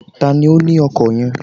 Tani ó ni ọkọ̀ yen?